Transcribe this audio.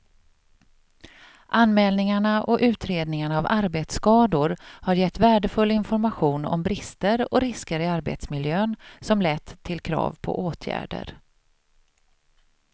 Anmälningarna och utredningarna av arbetsskador har gett värdefull information om brister och risker i arbetsmiljön som lett till krav på åtgärder.